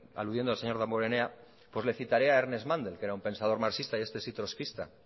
aludiendo al señor damborenea pues le citaré a ernest mandel que era un pensador marxista y este sí trotskista